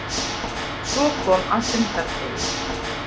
Svo kom að fundardegi.